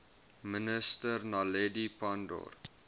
minister naledi pandor